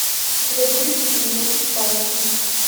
у тебя будет фильм елки палки